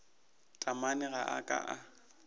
taamane ga a ka a